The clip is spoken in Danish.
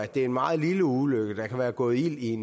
det er en meget lille ulykke der kan være gået ild i